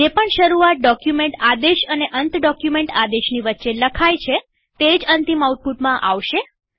જે પણ શરૂઆત ડોક્યુમેન્ટ આદેશ અને અંત ડોક્યુમેન્ટ આદેશની વચ્ચે લખાય છે તે અંતિમ આઉટપુટમાં આવશે